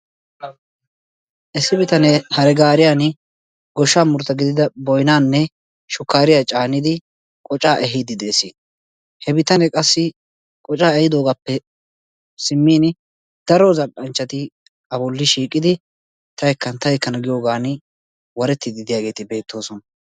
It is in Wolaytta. Issi bitanee hare gaaariyan goshsha muruta gidida boynaanne shukkaariya caanidi qocaa ehiiddi de'es. He bitanee qassi qocaa ehiidoogappe simmin daro zal''anchchati a bolli shiiqidi ta ekkana, ta ekkana giyoogan warettiiddi de'iyaageeti beettoosona.